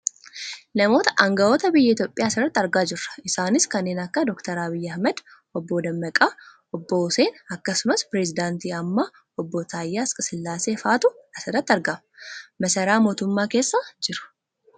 Namoota anga'oota biyya Itoopiyaa asirratti argaa jirra. Isaanis kanneen akka Dr Abiyyi Ahimad ,obbo Dammaqaa , Obbo Huseen akkasumas perisedaantii ammaa Dr Alkesillaasiee faatu as irratti argama. Masaaraa mootummaa keessa jiru.